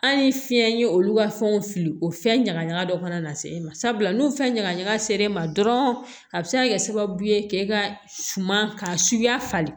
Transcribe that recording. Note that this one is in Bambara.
An ye fiɲɛ ye olu ka fɛnw fili o fɛn ɲagaɲaga dɔ kana na se e ma sabula n'u fɛn ɲagaɲaga ser'e ma dɔrɔn a bɛ se ka kɛ sababu ye k'e ka suma ka suya falen